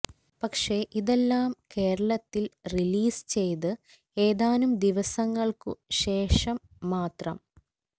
പക്ഷെ ഇതെല്ലം കേരളത്തില് റിലീസ് ചെയ്ത് ഏതാനും ദിവസങ്ങള്ക്കു ശേഷം മാത്രം